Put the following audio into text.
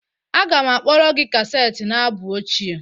Aga m akpọre gị kaseti na abụ ochie